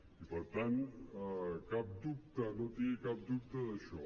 i per tant cap dubte no tingui cap dubte d’això